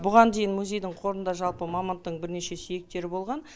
бұған дейін музейдің қорында жалпы мамонттың бірнеше сүйектері болған